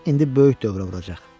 İndi böyük dövrə vuracaq.